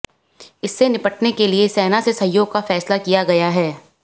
इससे निपटने के लिए सेना से सहयोग का फैसला किया गय़ा है